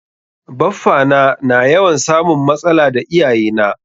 Baffa na na yawan samun matsala da iyaye na.